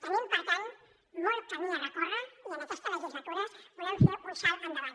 tenim per tant molt camí a recórrer i en aquesta legislatura volem fer un salt endavant